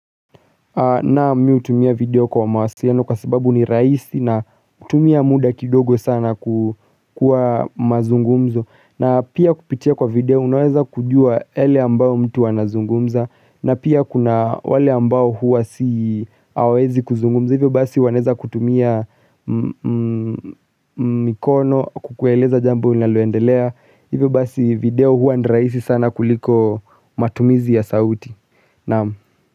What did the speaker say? Naam miu tumia video kwa mawasiliano kwa sababu ni rahisi na hutumia muda kidogo sana kukua mazungumzo. Na pia kupitia kwa video unaweza kujua yale ambayo mtu anazungumza. Na pia kuna wale ambao huwa si hawezi kuzungumza. Hivyo basi wanaeza kutumia mikono kukueleza jambo linaloendelea. Hivyo basi video huwa ni rahisi sana kuliko matumizi ya sauti. Naam.